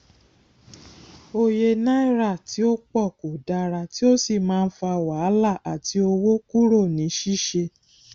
òye náírà tí ó pọ kò dára tí ó sì má ń fà wàhálà àti owó kúrò ní ṣíṣe